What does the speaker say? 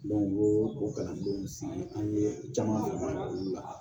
u y'o o kalandenw sigi an ye caman ye olu la